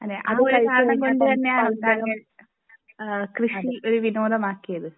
ആ ഒരു കാരണം കൊണ്ടു തന്നെ ആണോ താന് കൃഷി ഒരു വിനോദം ആക്കിയത്